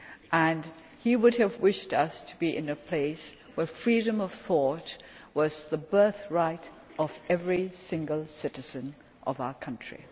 us to be and he would have wished us to be in a place where freedom of thought was the birthright of every single citizen of our country.